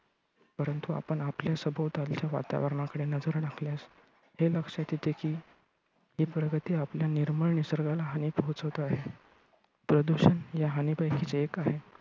परंतु आपण आपल्या सभोवतालच्या वातावरणाकडे नजर टाकल्यास हे लक्षात येते की हि प्रगती आपल्या निर्मळ निसर्गाला हानी पोचवते आहे. प्रदूषण ह्या हानीपैकीच एक आहे.